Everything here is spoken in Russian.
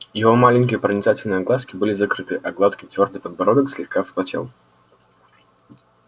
его маленькие проницательные глазки были закрыты а гладкий твёрдый подбородок слегка вспотел